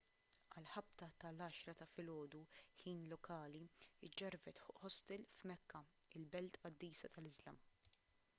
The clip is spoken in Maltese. għal ħabta tal-10 ta' filgħodu ħin lokali ġġarfet ħostel f'mekka il-belt qaddisa tal-iżlam